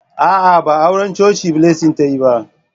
A'a, ba auran coci Blessing ta yi ba.